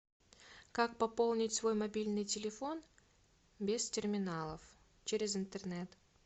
как пополнить свой мобильный телефон без терминалов через интернет